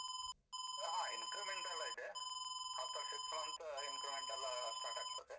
ಹಾ increment ಎಲ್ಲ ಇದೆ after six month increment ಎಲ್ಲ start ಆಗ್ತದೆ.